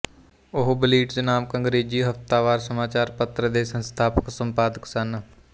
ਉਹ ਬਲਿਟਜ਼ ਨਾਮਕ ਅੰਗਰੇਜ਼ੀ ਹਫ਼ਤਾਵਾਰ ਸਮਾਚਾਰ ਪੱਤਰ ਦੇ ਸੰਸਥਾਪਕ ਸੰਪਾਦਕ ਸਨ